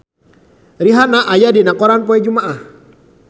Rihanna aya dina koran poe Jumaah